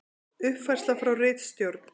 Uppfærsla frá ritstjórn: